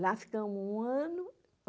Lá ficamos um ano.